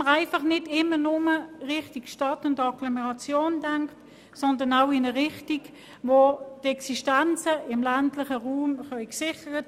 Man sollte nicht einfach immer nur in Richtung Stadt und Agglomeration denken, sondern auch in eine Richtung, die die Existenzen im ländlichen Raum sichert.